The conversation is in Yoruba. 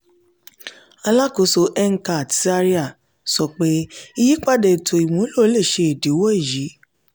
alakoso ncat zaria sọ pe iyipada eto imulo le ṣe idiwọ eyi.